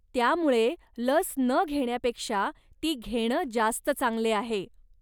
त्यामुळे लस न घेण्यापेक्षा ती घेणं जास्त चांगले आहे.